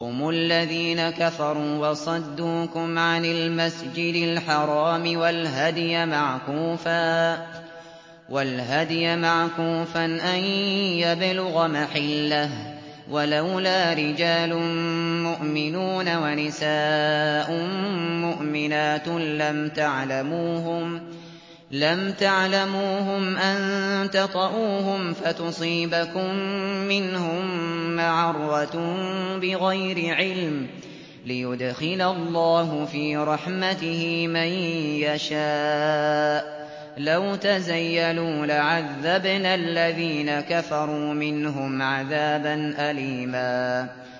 هُمُ الَّذِينَ كَفَرُوا وَصَدُّوكُمْ عَنِ الْمَسْجِدِ الْحَرَامِ وَالْهَدْيَ مَعْكُوفًا أَن يَبْلُغَ مَحِلَّهُ ۚ وَلَوْلَا رِجَالٌ مُّؤْمِنُونَ وَنِسَاءٌ مُّؤْمِنَاتٌ لَّمْ تَعْلَمُوهُمْ أَن تَطَئُوهُمْ فَتُصِيبَكُم مِّنْهُم مَّعَرَّةٌ بِغَيْرِ عِلْمٍ ۖ لِّيُدْخِلَ اللَّهُ فِي رَحْمَتِهِ مَن يَشَاءُ ۚ لَوْ تَزَيَّلُوا لَعَذَّبْنَا الَّذِينَ كَفَرُوا مِنْهُمْ عَذَابًا أَلِيمًا